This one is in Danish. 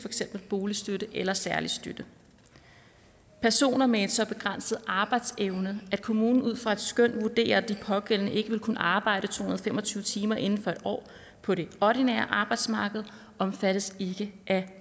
eksempel boligstøtte eller særlig støtte personer med en så begrænset arbejdsevne at kommunen ud fra et skøn vurderer at den pågældende ikke vil kunne arbejde to hundrede og fem og tyve timer inden for en år på det ordinære arbejdsmarked omfattes ikke af